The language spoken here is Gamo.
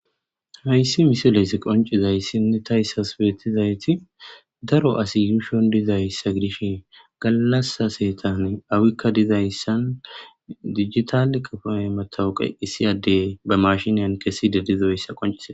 Hayssi misileysI qoncizaysinne tas beetizayti daro asi yuushon dizayssa gidishin gallasa seetan awikka dizayssan dijitale qafoy matawuqe issi addey ba mashiniyan keside dizoyssa qonccisees.